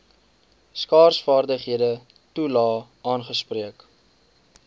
skaarsvaardighede toelae aangespreek